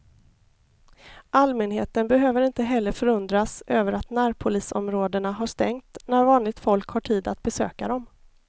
Allmänheten behöver inte heller förundras över att närpolisområdena har stängt när vanligt folk har tid att besöka dem.